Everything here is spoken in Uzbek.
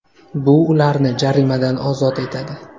Bu ularni jarimadan ozod etadi.